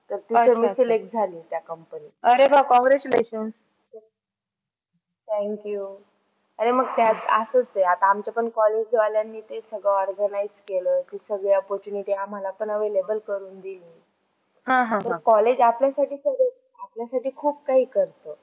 अरे मग त्यात असच आहे, आता आमच पण college वाल्याने ते सगळ organize केल आहे. ते सगळे opportunity आम्हाला पण available करून दिली. college आपल्यासाठी सगळं आपल्यामध्ये खूप काही करते.